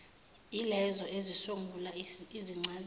yilezo ezisungula izincazelo